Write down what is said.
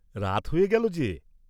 রাত হয়ে গেল যে!